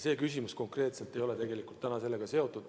Teie küsimus ei ole tegelikult selle teemaga seotud.